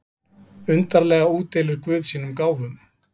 Undarlega útdeilir guð sínum gáfum.